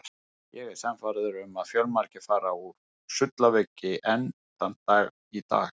Ég er sannfærður um að fjölmargir fara úr sullaveiki enn þann dag í dag.